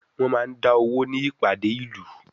Wọ́n máa ń dá owó ní ìpàdé ìlú.